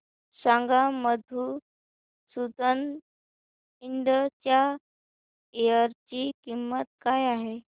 सांगा मधुसूदन इंड च्या शेअर ची किंमत काय आहे